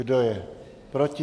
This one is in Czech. Kdo je proti?